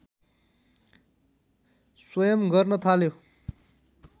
स्वयं गर्न थाल्यो